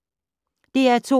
DR2